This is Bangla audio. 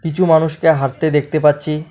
কিছু মানুষকে হাঁটতে দেখতে পাচ্ছি।